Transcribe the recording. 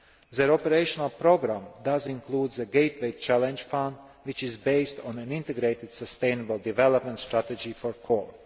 The Operational Programme includes the Gateway Challenge Fund', which is based on an integrated sustainable development strategy for Cork.